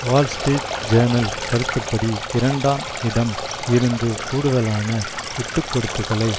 Wall Street Journal கருத்துப்படி இரண்டாம் இடம் இருந்து கூடுதலான விட்டுக்கொடுப்புகளை